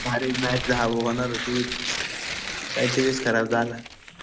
काल इतकी भारी मॅच होणार होती. काय टीव्हीच खराब झाला.